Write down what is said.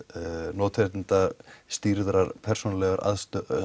notendastýrðrar persónulegrar